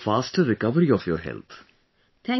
I wish for the faster recovery of your health